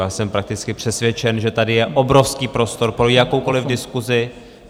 Já jsem prakticky přesvědčen, že tady je obrovský prostor pro jakoukoliv diskusi.